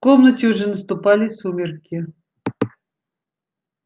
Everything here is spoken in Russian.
комнате уже наступали сумерки